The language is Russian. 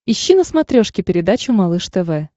ищи на смотрешке передачу малыш тв